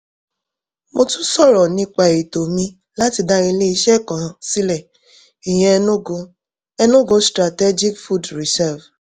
mo tún sọ̀rọ̀ nípa ètò mi láti dá iléeṣẹ́ kan sílẹ̀ ìyẹn enugu enugu strategic food reserve